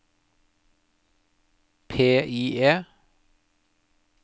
PIE